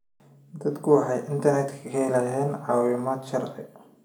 Dadku waxay internetka ka helayaan caawimaad sharci.